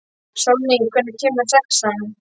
Sólný, hvenær kemur sexan?